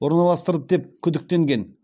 орналастырды деп күдіктенген